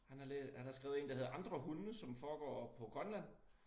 Han har lær han har skrevet én der hedder Andre Hunde som foregår på Grønland